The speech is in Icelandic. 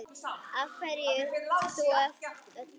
Af hverju þú af öllum?